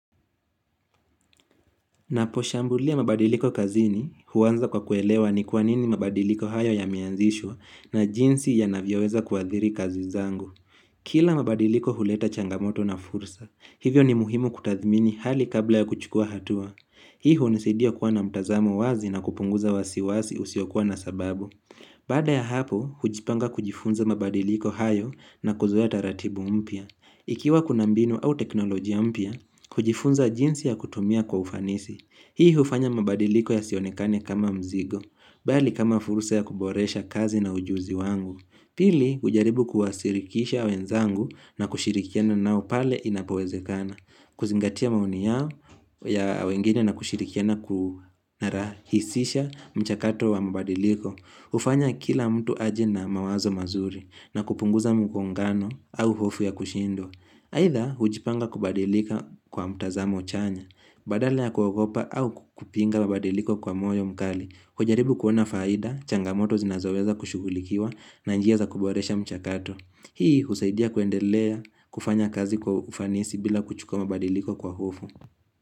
Ninaposhambulia mabadiliko kazini, huanza kwa kuelewa ni kwa nini mabadiliko hayo yameanzishwa na jinsi yanavyoweza kuadhiri kazi zangu. Kila mabadiliko huleta changamoto na fursa, hivyo ni muhimu kutathmini hali kabla ya kuchukua hatua. Hii hunisaidia kuwa na mtazamo wazi na kupunguza wasiwasi usiokua na sababu. Baada ya hapo, hujipanga kujifunza mabadiliko hayo na kuzoea taratibu mpya. Ikiwa kuna mbinu au teknolojia mpya, kujifunza jinsi ya kutumia kwa ufanisi. Hii hufanya mabadiliko yasionekane kama mzigo, bali kama furusa ya kuboresha kazi na ujuzi wangu. Pili hujaribu kuwashirikisha wenzangu na kushirikiana nao pale inapowezekana. Kuzingatia maoni yao ya wengine na kushirikiana kurahisisha mchakato wa mabadiliko. Hufanya kila mtu aje na mawazo mazuri na kupunguza mgongano au hofu ya kushindwa. Aidha, hujipanga kubadilika kwa mtazamo chanya, badala ya kuogopa au kupinga mabadiliko kwa moyo mkali. Kujaribu kuona faida, changamoto zinazoweza kushughulikiwa na njia za kuboresha mchakato. Hii, husaidia kuendelea kufanya kazi kwa ufanisi bila kuchukua mabadiliko kwa hofu.